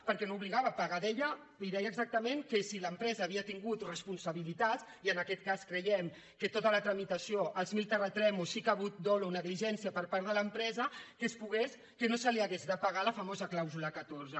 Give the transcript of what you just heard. perquè no obligava a pagar hi deia exactament que si l’empresa havia tingut responsabilitat i en aquest cas creiem que en tota la tramitació en els mil terratrèmols sí que hi ha hagut dol negligència per part de l’empresa que no se li hagués de pagar la famosa clàusula catorze